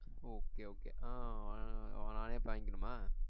Okay okay ஆஹ் நானே போய் வாங்கிக்கணுமா